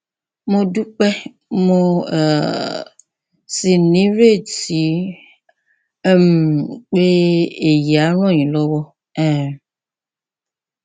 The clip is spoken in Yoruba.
mo dúpẹ mo um sì nírètí um pé èyí á ràn yín lọwọ um